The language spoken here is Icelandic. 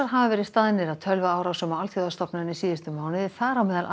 hafa verið staðnir að tölvuárásum á alþjóðastofnanir síðustu mánuði þar á meðal